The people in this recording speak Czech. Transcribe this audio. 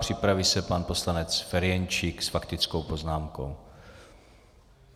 Připraví se pan poslanec Ferjenčík s faktickou poznámkou.